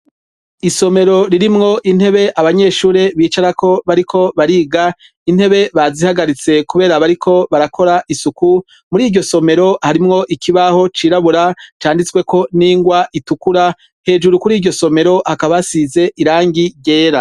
Isomero ririmwo intebe abanyeshure bicarako bariko bariga intebe bazihagaritse, kubera bariko barakora isuku muri iryo somero harimwo ikibaho cirabura canditsweko n'ingwa itukura hejuru kuri iryo somero hakabasize irangi ryera.